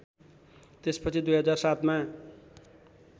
त्यसपछि २००७ मा